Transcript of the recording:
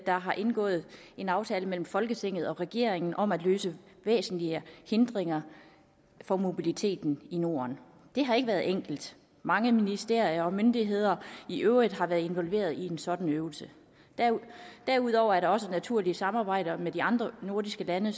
der har indgået en aftale mellem folketinget og regeringen om at løse væsentlige hindringer for mobiliteten i norden det har ikke været enkelt mange ministerier og myndigheder i øvrigt har været involveret i en sådan øvelse derudover er der også naturlige samarbejder med de andre nordiske lande